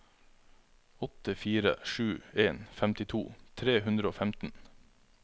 åtte fire sju en femtito tre hundre og femten